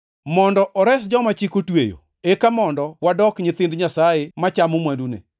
mondo ores joma Chik otweyo, eka mondo wadok nyithind Nyasaye machamo mwandune.